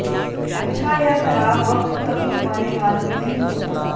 अच्छा या खराब वक्त कभी हमारे हाथ में नहीं होता